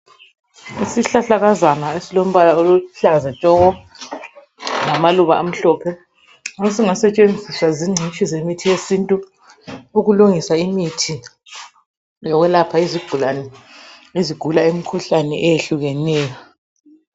Isihlahlakazana esilombala oluhlaza tshoko lamaluba amhlophe esingasetshenziswa zingcitshi yemithi yesintu ukulungisa imithi yesintu ukwelapha izigulane ezigula imikhuhlane etshiyeneyo .